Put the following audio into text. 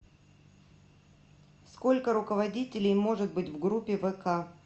сколько руководителей может быть в группе вк